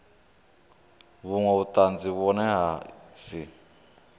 vhunwe vhutanzi vhune ha si